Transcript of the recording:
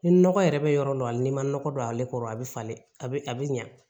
Ni nɔgɔ yɛrɛ bɛ yɔrɔ dɔ la hali n'i ma nɔgɔ don ale kɔrɔ a bɛ falen a bɛ a bɛ ɲɛ